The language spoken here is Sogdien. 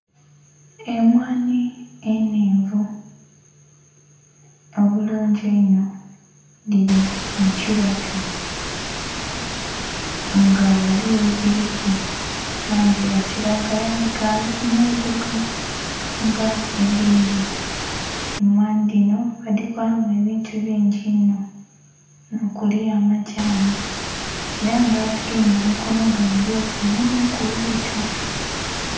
Emwanhi enhenvu obulungi einho dhili mu kibatu nga ghaligho edhiliku langi ya kilagala dhikali ku nhuruguka nga edindhi. Emwanhi dhino badhikolamu ebintu bingi inho nho kili amadhani nga adhigemye mumukono gwe mulyoti mukimuli bwito.